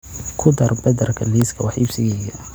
ku dar badarka liiska wax iibsigayga